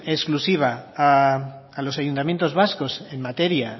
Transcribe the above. exclusiva a los ayuntamientos vascos en materia